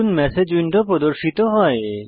নতুন message window প্রদর্শিত হয়